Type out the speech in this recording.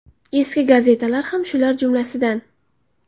Eski gazetalar ham shular jumlasidan.